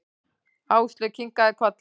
Áslaug kinkaði kolli.